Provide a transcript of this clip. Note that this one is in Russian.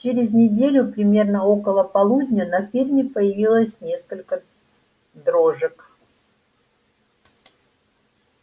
через неделю примерно около полудня на ферме появилось несколько дрожек